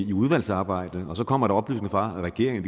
udvalgsarbejdet og så kommer der oplysninger fra regeringen